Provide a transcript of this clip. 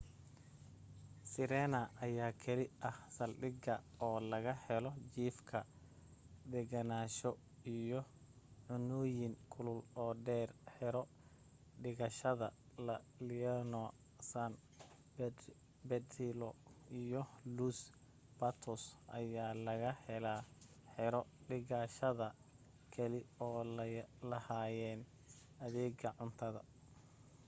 sirena ayaa keli ah saldhigga oo laga helo jiifka degenaansho iyo cunooyin kulul oo dheer xero dhigashada la leona san pedrillo iyo los patos ayaa laga helaa xero dhigashada keli oo lahayn adeega cunto